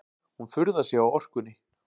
Hún furðar sig á orkunni.